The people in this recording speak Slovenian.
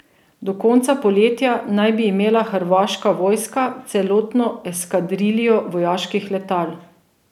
Do konca poletja naj bi imela hrvaška vojska celotno eskadriljo vojaških letal.